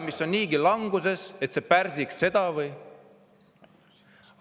Majandus on languses, see pärsiks seda või?